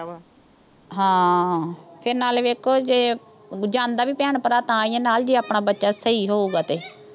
ਹਾਂ ਤੇ ਨਾਲੇ ਦੇਖੋ ਜੇ। ਜਾਂਦਾ ਵੀ ਭੈਣ-ਭਰਾ ਨਾਲ ਤਾਂ ਹੀ ਆ, ਜੇ ਆਪਣਾ ਬੱਚਾ ਸਹੀ ਹੋਊ ਗਾ ਤੇ।